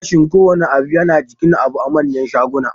Farashin kowanne abu yana jikin abu a manyan shaguna